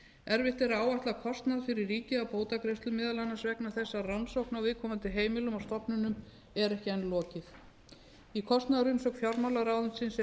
erfitt er að áætla kostnað fyrir ríkið af bótagreiðslum meðal annars vegna þess að rannsókn á viðkomandi heimilum og stofnunum er ekki enn lokið í kostnaðarumsögn fjármálaráðuneytisins er tekið